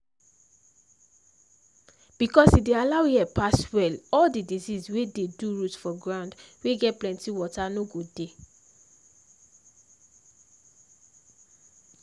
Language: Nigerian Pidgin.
because e dey allow air pass well all the disease wey dey do root for ground wey get plenty water no go dey.